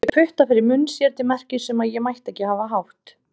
Hún setti putta fyrir munn sér til merkis um að ég mætti ekki hafa hátt.